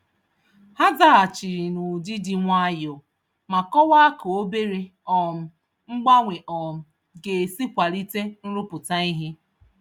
Ha zaghachiri n'ụdị dị nwayọọ, ma kọwaa ka obere um mgbanwe um g'esi kwalite nrụpụta ìhè.